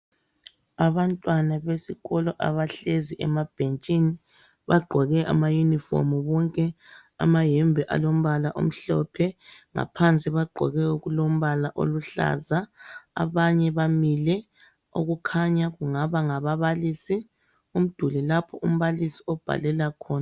Abantwana besikolo abahlezi emabhentshini bagqoke amayunifomu bonke amayembe alombala omhlophe ngaphansi bagqoke okulombala oluhlaza, abanye bamile okukhanya kungaba ngababalisi ,umduli lapho umbalisi abhalela khona.